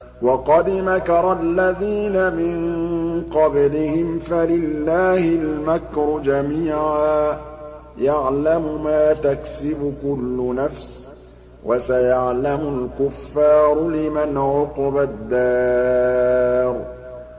وَقَدْ مَكَرَ الَّذِينَ مِن قَبْلِهِمْ فَلِلَّهِ الْمَكْرُ جَمِيعًا ۖ يَعْلَمُ مَا تَكْسِبُ كُلُّ نَفْسٍ ۗ وَسَيَعْلَمُ الْكُفَّارُ لِمَنْ عُقْبَى الدَّارِ